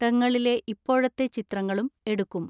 ടങ്ങളിലെ ഇപ്പോഴത്തെ ചിത്രങ്ങളും എടുക്കും.